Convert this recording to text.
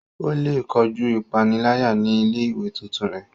O le kojú ipanilaya ní ilé-ìwé tuntun rẹ